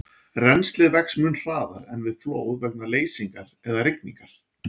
Rennslið vex mun hraðar en við flóð vegna leysingar eða rigningar.